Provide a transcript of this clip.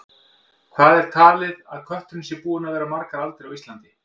Hvað er talið að kötturinn sé búinn að vera margar aldir á Íslandi?